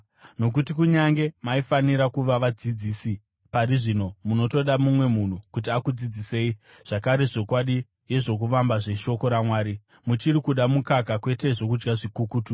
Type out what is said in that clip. Nokuti, kunyange maifanira kuva vadzidzisi pari zvino munotoda mumwe munhu kuti akudzidzisei zvakare zvokwadi yezvokuvamba zveshoko raMwari. Muchiri kuda mukaka, kwete zvokudya zvikukutu.